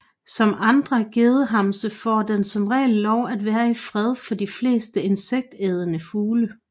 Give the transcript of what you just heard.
Som andre gedehamse får den som regel lov til at være i fred for de fleste insektædende fugle